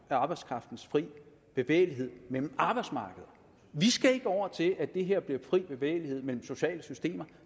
arbejdskraftens fri bevægelighed mellem arbejdsmarkederne vi skal ikke over til at det her bliver fri bevægelighed mellem sociale systemer